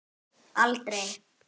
Utan vallar: aldrei.